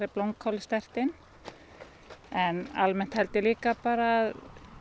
blómkálið sterkt inn en líka bara að